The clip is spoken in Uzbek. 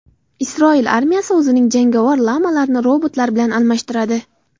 Isroil armiyasi o‘zining jangovar lamalarini robotlar bilan almashtiradi.